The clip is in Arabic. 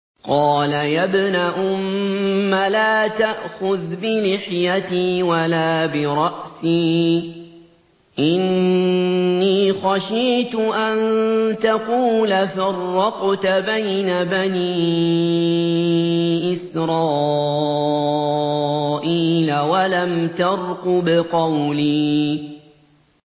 قَالَ يَا ابْنَ أُمَّ لَا تَأْخُذْ بِلِحْيَتِي وَلَا بِرَأْسِي ۖ إِنِّي خَشِيتُ أَن تَقُولَ فَرَّقْتَ بَيْنَ بَنِي إِسْرَائِيلَ وَلَمْ تَرْقُبْ قَوْلِي